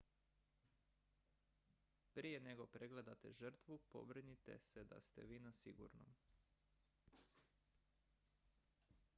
prije nego pregledate žrtvu pobrinite se da ste vi na sigurnom